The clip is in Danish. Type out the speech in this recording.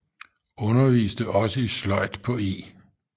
Underviste også i sløjd på E